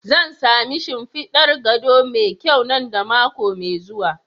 Zan sami shimfidar gado mai kyau nan da mako mai zuwa.